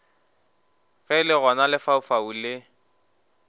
ge le gona lefaufau le